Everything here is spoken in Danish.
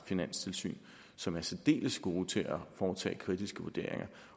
finanstilsyn som er særdeles gode til at foretage kritiske vurderinger